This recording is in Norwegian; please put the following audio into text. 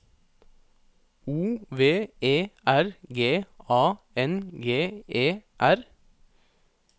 O V E R G A N G E R